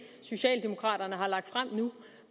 socialdemokraterne har lagt frem nu